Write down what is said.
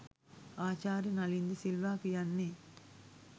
ආචාර්ය නලින්ද සිල්වා කියන්නෙ